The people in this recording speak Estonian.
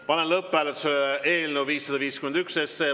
Panen lõpphääletusele eelnõu 551.